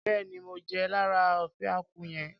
Béèni mo jẹ lára ofe akwu yẹn.